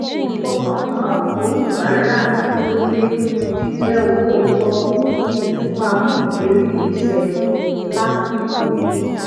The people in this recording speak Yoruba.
ifọkàntán oníbàárà durole jijé olóòótó kí n sì máa mú ìlérí mi ṣẹ lasiko